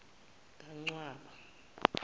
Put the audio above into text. kancwaba